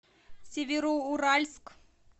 североуральск